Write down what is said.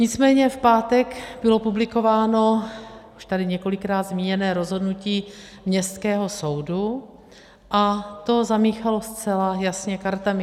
Nicméně v pátek bylo publikováno už tady několikrát zmíněné rozhodnutí Městského soudu a to zamíchalo zcela jasně kartami.